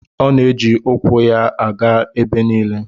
A na-eji ukwu aga ije ebe niile